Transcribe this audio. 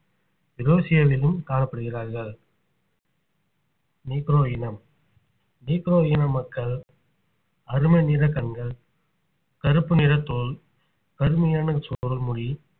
யுரேசியாவிலும் காணப்படுகிறார்கள் நீக்ரோ இனம் நீக்ரோ இன மக்கள் கருமை நிற கண்கள் கருப்பு நிற தோல் கருமையான சுருள் முடி